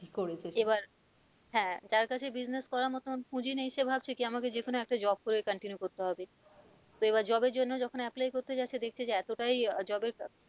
এবার হ্যাঁ যার কাছে business করার মতো পুঁজি নেই সে ভাবছে কি আমাকে যেকোন একটা job করে continue করতে হবে তো এবার job এর জন্য যখন apply করতে যাচ্ছে দেখছে যে এতটাই job এর